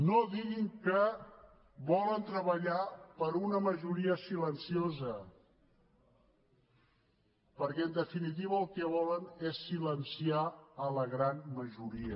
no diguin que volen treballar per una majoria silenciosa perquè en definitiva el que volen és silenciar la gran majoria